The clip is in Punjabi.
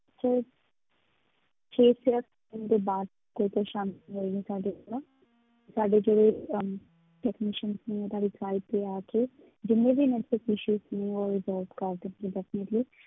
ਦੇ ਬਾਅਦ ਕੋਈ ਪਰੇਸਾਨੀ ਆਈ ਹੈ ਸਾਡੇ ਕੋਲੋਂ ਸਾਡੇ ਜਿਹੜੇ ਅਮ technicians ਨੇ ਤੁਹਾਡੀ site ਤੇ ਆ ਕੇ ਜਿੰਨੇ ਵੀ net issues ਨੇ ਉਹ resolve ਕਰ ਦਿੱਤੇ ਜਾਣਗੇ।